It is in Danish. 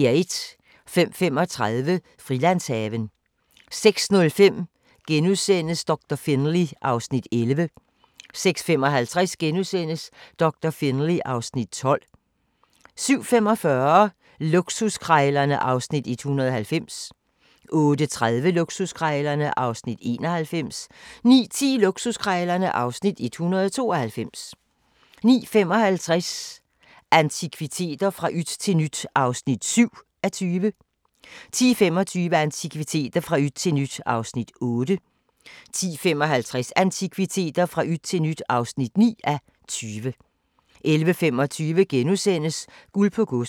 05:35: Frilandshaven 06:05: Doktor Finlay (Afs. 11)* 06:55: Doktor Finlay (Afs. 12)* 07:45: Luksuskrejlerne (Afs. 190) 08:30: Luksuskrejlerne (Afs. 191) 09:10: Luksuskrejlerne (Afs. 192) 09:55: Antikviteter – fra yt til nyt (7:20) 10:25: Antikviteter – fra yt til nyt (8:20) 10:55: Antikviteter – fra yt til nyt (9:20) 11:25: Guld på Godset *